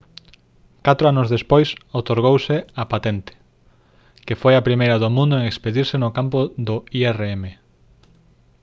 catro anos despois outorgouse a patente que foi a primeira do mundo en expedirse no campo do irm